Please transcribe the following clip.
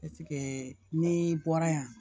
ni bɔra yan